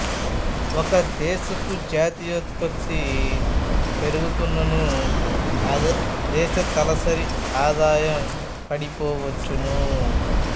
ఒక దేశపు జాతీయోత్పత్తి పెరుగుతున్ననూ ఆ దేశ తలసరి ఆదాయం పడిపోవచ్చును